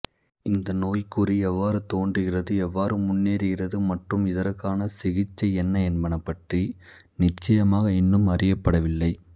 இந்த நோய்க்குறி எவ்வாறு தோன்றுகிறது எவ்வாறு முன்னேறுகிறது மற்றும் இதற்கான சிகிச்சை என்ன என்பன பற்றி நிச்சயமாக இன்னமும் அறியப்படவில்லை